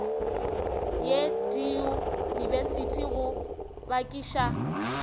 ye diyunibesithi go yo bakiša